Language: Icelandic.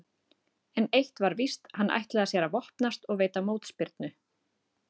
En eitt var víst, hann ætlaði sér að vopnast og veita mótspyrnu.